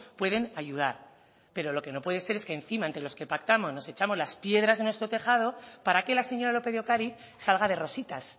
pueden ayudar pero lo que no puede ser es que encima entre los que pactamos nos echamos las piedras en nuestro tejado para que la señora lópez de ocariz salga de rositas